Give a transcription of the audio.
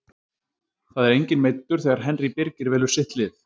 Það er enginn meiddur þegar Henry Birgir velur sitt lið.